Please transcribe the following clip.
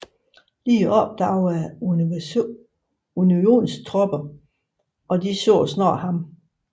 Lee opdagede Unionstropperne og de så snart ham